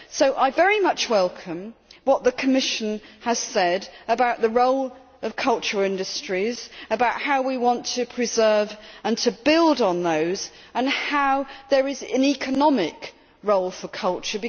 So I very much welcome what the Commission has said about the role of cultural industries, about how we want to preserve and to build on those and how there is an economic role for culture.